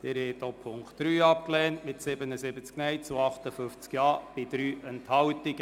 Sie haben auch Punkt 3 abgelehnt, mit 77 Nein- zu 58 Ja-Stimmen bei 3 Enthaltungen.